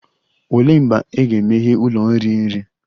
Olee mgbe a ga-emeghe ụlọ iri nri?